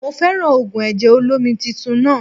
Mo fẹ́ràn ògùn ẹ̀jẹ̀ olómi titun náà